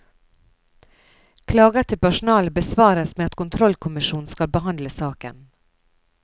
Klager til personalet besvares med at kontrollkommisjonen skal behandle saken.